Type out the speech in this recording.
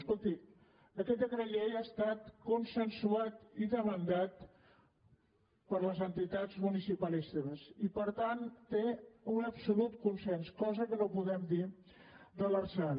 escolti aquest decret llei ha estat consensuat i demandat per les entitats municipalistes i per tant té un absolut consens cosa que no podem dir de l’lrsal